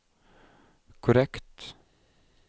korrekt